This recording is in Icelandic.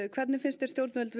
hvernig finnst þér stjórnvöld